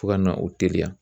Fo ka na o teliya.